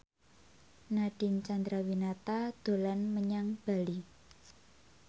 Nadine Chandrawinata dolan menyang Bali